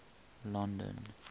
london